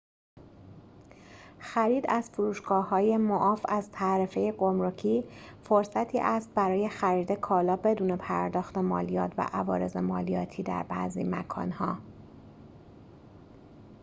خرید از فروشگاه‌های معاف از تعرفه گمرکی فرصتی است برای خرید کالا بدون پرداخت مالیات و عوارض مالیاتی در بعضی مکان‌ها